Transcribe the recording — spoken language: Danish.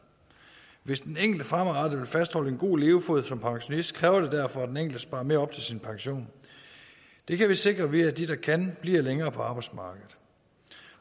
hvis den enkelte fremadrettet vil fastholde en god levefod som pensionist kræver det derfor at den enkelte sparer mere op til sin pension det kan vi sikre ved at de der kan bliver længere på arbejdsmarkedet